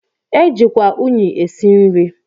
E jikwa unyị esi nri.